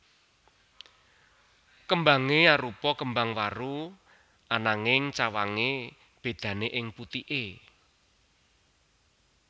Kembange arupa kembang waru ananging cawange bedane ing putike